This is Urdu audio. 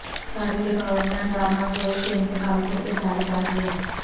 سابق گورنر راما جوئس کے انتقال پر اظہار تعزیت